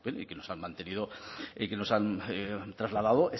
y que nos han mantenido y que nos han trasladado